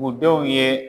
U denw ye